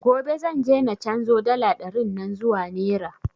Gobe zan je na canzo dala ɗarin nan zuwa nera